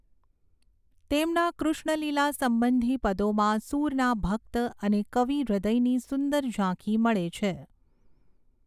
તેમના કૃષ્ણલીલા સંબંધી પદોમાં સૂરના ભક્ત અને કવિ હૃદયની સુંદર ઝાંખી મળે છે.